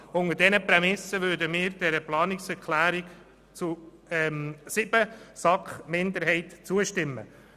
Unter dieser Prämisse würden wir der Planungserklärung 7 der SAK-Minderheit zustimmen.